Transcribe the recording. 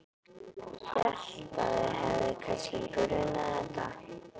Hélt að þig hefði kannski grunað þetta.